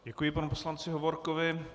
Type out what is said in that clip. Děkuji panu poslanci Hovorkovi.